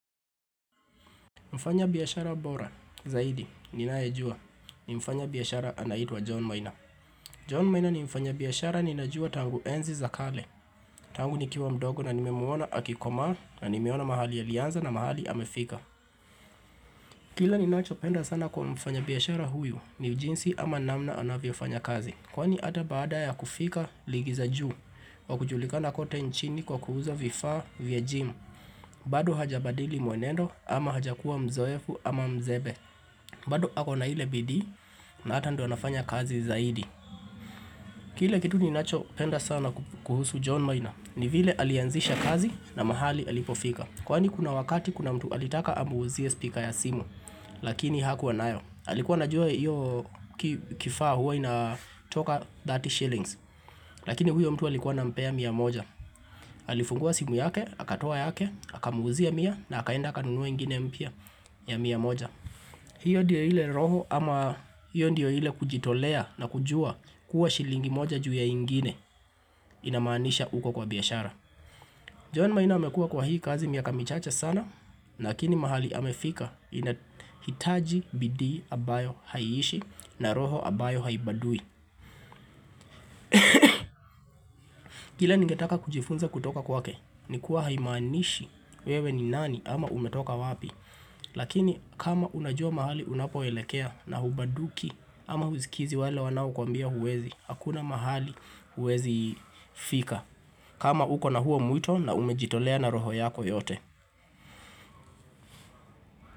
Mfanyabiashara bora, zaidi, ninayejua, ni mfanya biyashara anaitwa John Maina John Maina ni mfanyabiashara ninajua tangu enzi za kale Tangu nikiwa mdogo na nimemuona akikomaa na nimeona mahali alianza na mahali amefika Kila ninachopenda sana kwa mfanyabiashara huyu ni jinsi ama namna anavyofanya kazi kwani ata baada ya kufika ligi za juu, kwa kujulikana kote nchini kwa kuuza vifa vya gym bado hajabadili muenendo ama hajakuwa mzoefu ama mzebe bado ako na ile bidii na hata ndo nafanya kazi zaidi Kile kitu ninacho penda sana kuhusu John Maina ni vile alianzisha kazi na mahali alipofika kwani kuna wakati kuna mtu alitaka amuuzie speaker ya simu Lakini hakuwa nayo alikuwa anajua hiyo kifaa huwa inatoka thirty shillings Lakini huyo mtu alikuwa anampea mia moja Alifungua simu yake, akatoa yake, akamuuzia mia na akaenda akanunua ingine mpya ya mia moja hiyo ndio ile roho ama hiyo ndio ile kujitolea na kujua kuwa shilingi moja juu ya ingine inamaanisha uko kwa biashara. John maina amekuwa kwa hii kazi miaka michache sana, lakini mahali amefika inahitaji bidii ambayo haiishi na roho ambayo haibadui. Kile ningetaka kujifunza kutoka kwake nikuwa haimanishi wewe ni nani ama umetoka wapi Lakini kama unajua mahali unapoelekea na hubaduki ama husikizi wale wanaokuambia huwezi hakuna mahali huwezi fika kama uko na huo mwito na umejitolea na roho yako yote.